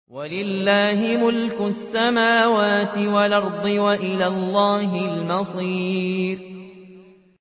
وَلِلَّهِ مُلْكُ السَّمَاوَاتِ وَالْأَرْضِ ۖ وَإِلَى اللَّهِ الْمَصِيرُ